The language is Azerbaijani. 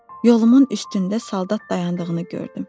Yolumun üstündə saldat dayandığını gördüm.